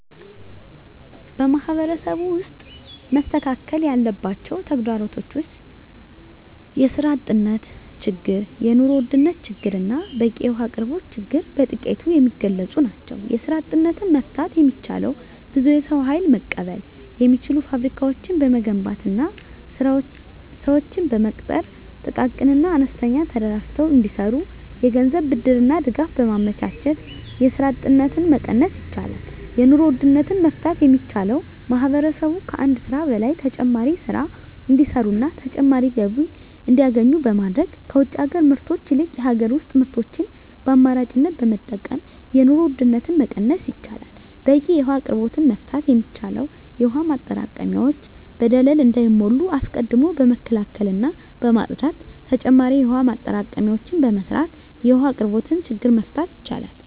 በማህበረሰቡ ውስጥ መስተካከል ያለባቸው ተግዳሮቶች ውስጥ የስራ አጥነት ችግር የኑሮ ውድነት ችግርና በቂ የውሀ አቅርቦት ችግር በጥቂቱ የሚገለፁ ናቸው። የስራ አጥነትን መፍታት የሚቻለው ብዙ የሰው ሀይል መቀበል የሚችሉ ፋብሪካዎችን በመገንባትና ስዎችን በመቅጠር ጥቃቅንና አነስተኛ ተደራጅተው እንዲሰሩ የገንዘብ ብድርና ድጋፍ በማመቻቸት የስራ አጥነትን መቀነስ ይቻላል። የኑሮ ውድነትን መፍታት የሚቻለው ማህበረሰቡ ከአንድ ስራ በላይ ተጨማሪ ስራ እንዲሰሩና ተጨማሪ ገቢ እንዲያገኙ በማድረግ ከውጭ ሀገር ምርቶች ይልቅ የሀገር ውስጥ ምርቶችን በአማራጭነት በመጠቀም የኑሮ ውድነትን መቀነስ ይቻላል። በቂ የውሀ አቅርቦትን መፍታት የሚቻለው የውሀ ማጠራቀሚያዎች በደለል እንዳይሞሉ አስቀድሞ በመከላከልና በማፅዳት ተጨማሪ የውሀ ማጠራቀሚያዎችን በመስራት የውሀ አቅርቦትን ችግር መፍታት ይቻላል።